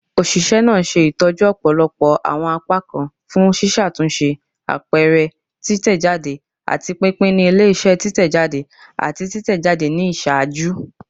Oṣiṣẹ naa ṣe itọju ọpọlọpọ awọn apakan fun ṣiṣatunṣe, apẹrẹ, titẹjade, ati pinpin ni ile-iṣẹ titẹjade ati titẹjade ni iṣaaju.